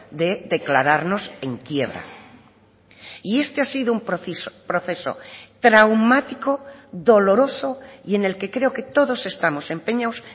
de declararnos en quiebra y este ha sido un proceso traumático doloroso y en el que creo que todos estamos empeñados